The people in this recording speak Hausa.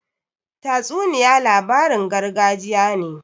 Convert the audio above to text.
Tatsuniya labarin gargajiya ne.